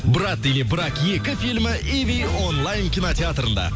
брат или брак екі фильмі иви онлайн кинотеатрында